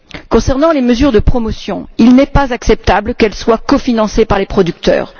Concernant les mesures de promotion, il n'est pas acceptable qu'elles soient cofinancées par les producteurs.